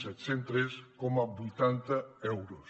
set cents i tres coma vuitanta euros